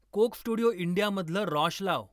कोक studio इंडियामधलं रॉश लाव